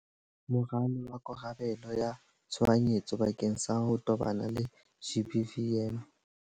Moralo wa karabelo ya tshohanyetso bakeng sa ho tobana le GBVM.